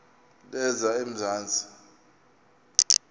lezamanzi